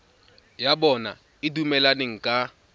ya bona e dumelaneng ka